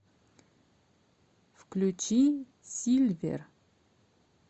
включи сильвер